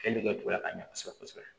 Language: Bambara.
ka ɲɛ kosɛbɛ kosɛbɛ